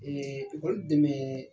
Ɛɛ ekɔli dɛmɛɛ